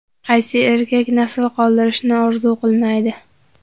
Qaysi erkak nasl qoldirishni orzu qilmaydi?.